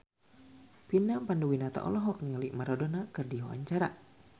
Vina Panduwinata olohok ningali Maradona keur diwawancara